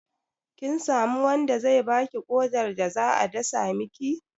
Kin samu wanda zai baki ƙodar da za a dasa miki?